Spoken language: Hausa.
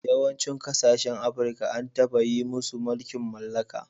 Yawancin kasashen Afirka an taba yi musu mulkin mallaka.